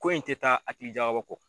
Ko in tɛ taa a hakili jagabɔ kɔ.